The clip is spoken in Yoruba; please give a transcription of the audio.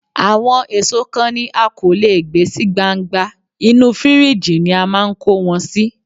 Àwọn èso kan ni a kò lè gbé sí gbangba, inú fíríjì ni a máa ń kó wọn sí.